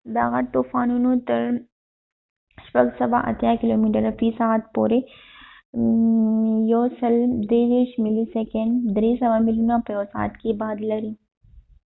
دا غټ طوفانونه تر ۴۸۰ کیلومتره في ساعت پورې ۱۳۳ ملي/سيکنډ، ۳۰۰ ميلونه په يوه سعت کي باد لري